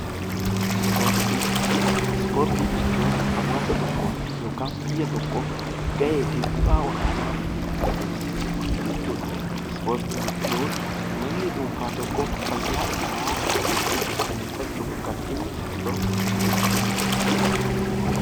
Ispoortii jechuun haawaasa tokkoof yookaan biyya tokkoof gahee fi bu'aa olaanaa kan argamsiisu jechuu dha. Isportii jechuun namni dhuunfaa tokko fayyaa isaa ittiin mirkaneeffachuuf kan dhimma itti bahu jechuu dha.